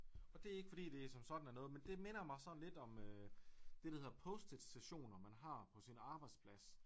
Og det ikke fordi det som sådan er noget men det minder mig sådan lidt om øh det der hedder post-it sessioner man har på sin arbejdsplads